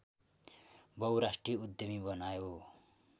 बहुराष्ट्रिय उद्यमी बनायो